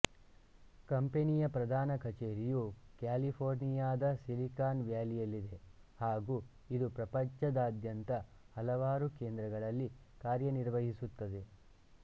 ಕಂಪನಿಯ ಪ್ರಧಾನ ಕಛೇರಿಯು ಕ್ಯಾಲಿಫೋರ್ನಿಯಾದ ಸಿಲಿಕಾನ್ ವ್ಯಾಲಿಯಲ್ಲಿದೆ ಹಾಗೂ ಇದು ಪ್ರಪಂಚದಾದ್ಯಂತ ಹಲವಾರು ಕೇಂದ್ರಗಳಲ್ಲಿ ಕಾರ್ಯನಿರ್ವಹಿಸುತ್ತದೆ